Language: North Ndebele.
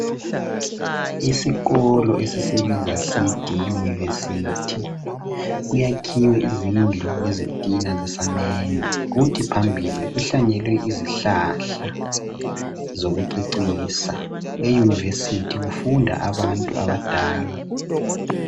Isikolo esisibiza sithi yiyunivesithi kuyakhiwe izindlu ngezitina zesamende kuthi phambili kuhlanyelwe izihlahla zokucecisa eyunivesithi kufunda abantu abadala.